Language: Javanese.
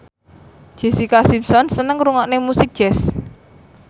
Jessica Simpson seneng ngrungokne musik jazz